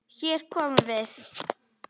Hér komum við!